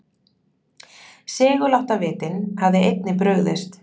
Seguláttavitinn hafði einnig brugðist.